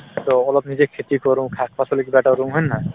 so, অলপ নিজে খেতি কৰো শাক-পাচলি কিবা এটা ৰু হয় নে নহয়